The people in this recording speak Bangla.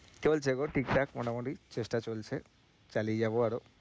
চলছে গো ঠিকঠাক মোটামুটি চেষ্টা চলছে, চালিয়ে যাবো আরও